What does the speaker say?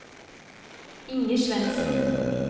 Inger Svensen